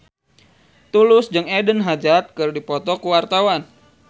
Tulus jeung Eden Hazard keur dipoto ku wartawan